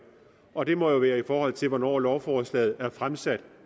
og det må jo være i forhold til hvornår lovforslaget er fremsat